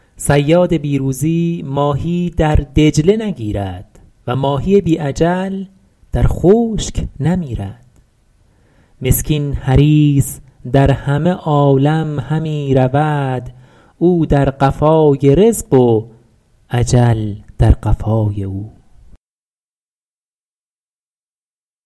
صیاد بی روزی ماهی در دجله نگیرد و ماهی بی اجل در خشک نمیرد مسکین حریص در همه عالم همی رود او در قفای رزق و اجل در قفای او